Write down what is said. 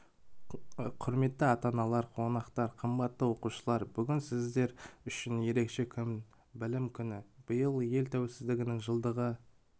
құрметті ата-аналар қонақтар қымбатты оқушылар бүгін сіздер үшін ерекше күн білім күні биыл ел тәуелсіздігінің жылдығы